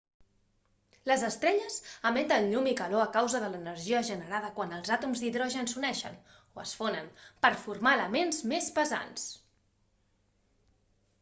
les estrelles emeten llum i calor a causa de l'energia generada quan els àtoms d'hidrogen s'uneixen o es fonen per formar elements més pesants